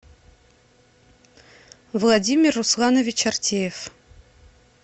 владимир русланович артеев